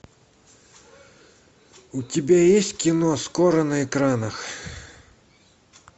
у тебя есть кино скоро на экранах